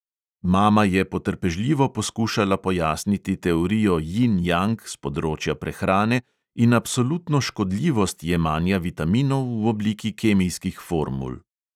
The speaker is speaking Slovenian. Mama je potrpežljivo poskušala pojasniti teorijo jin-jang s področja prehrane in absolutno škodljivost jemanja vitaminov v obliki kemijskih formul.